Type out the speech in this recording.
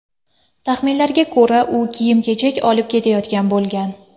Taxminlarga ko‘ra, u kiyim-kechak olib ketayotgan bo‘lgan.